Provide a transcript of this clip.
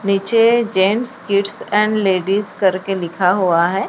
नीचे gents kids and ladies करके लिखा हुआ है।